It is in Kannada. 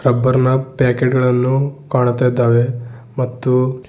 ಅಬ್ಬರ್ನ್ ಪ್ಯಾಕೆಟ್ ಗಳನ್ನು ಕಾಣುತ್ತ ಇದ್ದಾವೆ ಮತ್ತು--